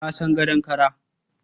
Ka san gadon kara?